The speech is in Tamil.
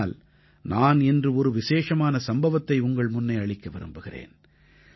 ஆனால் நான் இன்று ஒரு விசேஷமான சம்பவத்தை உங்கள் முன்னே அளிக்க விரும்புகிறேன்